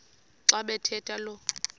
xa bathetha lo